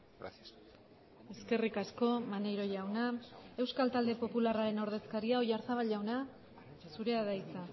gracias eskerrik asko maneiro jauna euskal talde popularraren ordezkaria oyarzabal jaunak zurea da hitza